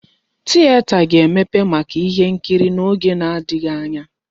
Tieta ga-emepe maka ihe nkiri n'oge na-adịghị anya.